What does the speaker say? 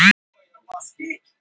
Villimey, hækkaðu í hátalaranum.